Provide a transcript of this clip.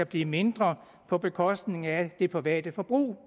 blive mindre på bekostning af det private forbrug